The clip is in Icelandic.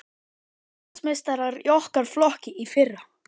Íslandsmeistarar í okkar flokki í fyrra.